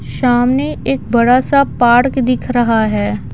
सामने एक बड़ा सा पार्क दिख रहा है।